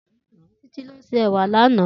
Titi ló sé èwà lànã